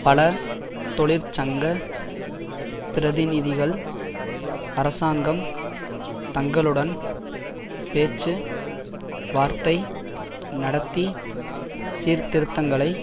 பல தொழிற்சங்க பிரதிநிதிகள் அரசாங்கம் தங்களுடன் பேச்சு வார்த்தை நடத்தி சீர்திருத்தங்களை